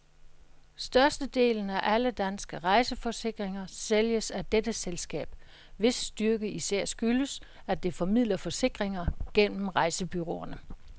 Størstedelen af alle danske rejseforsikringer sælges af dette selskab, hvis styrke især skyldes, at det formidler forsikringer gennem rejsebureauerne.